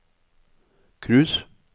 cruise